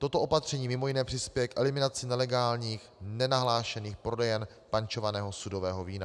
Toto opatření mimo jiné přispěje k eliminaci nelegálních, nenahlášených prodejen pančovaného sudového vína.